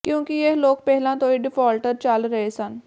ਕਿਉਂਕਿ ਇਹ ਲੋਕ ਪਹਿਲਾਂ ਤੋਂ ਹੀ ਡਿਫਾਲਟਰ ਚੱਲ ਰਹੇ ਸਨ